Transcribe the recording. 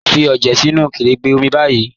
Fí ọjẹ sínu kẹ̀rẹ́gbẹ́ omi báyì